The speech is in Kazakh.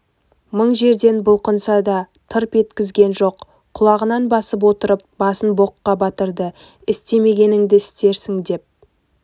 мың жерден бұлқынса да тырп еткізген жоқ құлағынан басып отырып басын боққа батырды істемегеніңді істедің деп